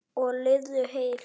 Og lifðu heil!